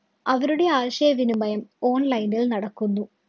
അവരുടെ ആശയവിനിമയം online ല്‍ നടക്കുന്നു.